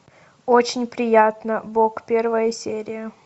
очень приятно бог первая серия